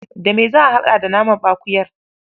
Da me za a haɗa da namanɓakuyar?